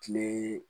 Kile